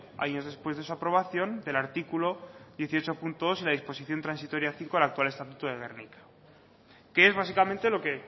años después de su aprobación del artículo dieciocho punto dos de la disposición transitoria cinco al actual estatuto de gernika que es básicamente lo que